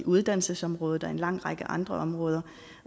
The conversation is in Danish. uddannelsesområdet og på en lang række andre områder